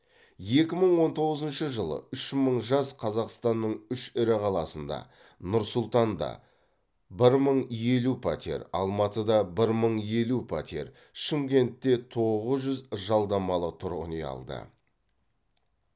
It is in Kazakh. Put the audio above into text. екі мың он тоғызыншы жылы үш мың жас қазақстанның үш ірі қаласында нұр сұлтанда бір мың елу пәтер алматыда бір мың елу пәтер шымкентте тоғыз жүз жалдамалы тұрғын үй алды